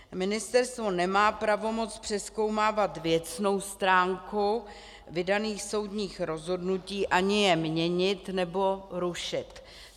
Ministerstvo nemá pravomoc přezkoumávat věcnou stránku vydaných soudních rozhodnutí ani je měnit nebo rušit.